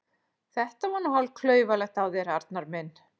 Þetta var nú hálf klaufalegt af þér, Arnar minn!